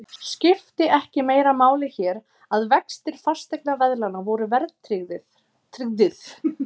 Skipti ekki meira máli hér, að vextir fasteignaveðlána voru verðtryggðir?